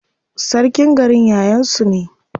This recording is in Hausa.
Sarkin garin yayan su ne.